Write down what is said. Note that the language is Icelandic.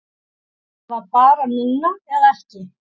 Það var bara núna eða ekki